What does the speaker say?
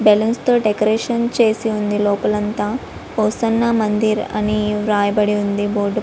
balloons తో decoration చేసి ఉంది లోపల అంతా హోసన్నా మందిర్ అని వ్రాయబడి ఉంది బోర్డుపై --